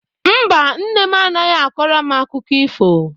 Mba, nne m anaghị akọrọ m akụkọ ifo.